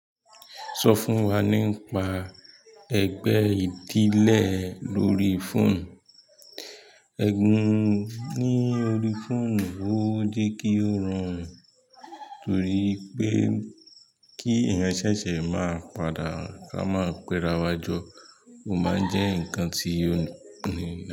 Sọ fún wa nípa ẹgbẹ́ ìdílé lórí fóònù. Ẹ̀gún ní orí fóònù, ó jẹ́ kí ó rùn, torí pé kí ẹ̀yàn ṣẹ̀ṣẹ̀ máa padà, a máa pẹ́rawa jo, ó máa ń jẹ́ ǹkan tí ó le.